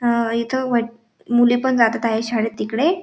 अ इथ वाट मुले पण जातात आहेत शाळेत तिकडे--